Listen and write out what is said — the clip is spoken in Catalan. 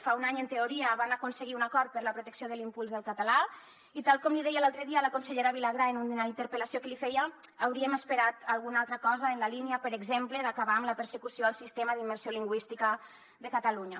fa un any en teoria van aconseguir un acord per a la protecció i l’impuls del català i tal com li deia l’altre dia a la consellera vilagrà en una interpel·lació que li feia hauríem esperat alguna altra cosa en la línia per exemple d’acabar amb la persecució al sistema d’immersió lingüística de catalunya